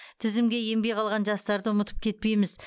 тізімге енбей қалған жастарды ұмытып кетпейміз